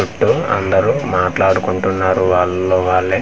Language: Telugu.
చుట్టూ అందరూ మాట్లాడుకుంటున్నారు వాళ్ళల్లో వాళ్ళే .]